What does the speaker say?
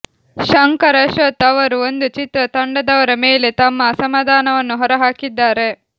ಶಂಕರ್ ಅಶ್ವಥ್ ಅವರು ಒಂದು ಚಿತ್ರ ತಂಡದವರ ಮೇಲೆ ತಮ್ಮ ಅಸಮಾಧಾನವನ್ನು ಹೊರ ಹಾಕಿದ್ದಾರೆ